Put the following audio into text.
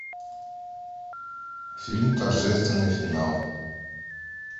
фильм торжественный финал